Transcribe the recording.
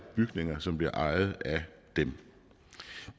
bygninger som bliver ejet af dem